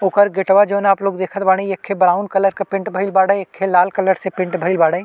ओकर गेटवा जॉन आपलोग देखत बाड़े एक ब्राउन कलर के पेंट भइल एक लाल कलर से पेंट भइल बाड़े।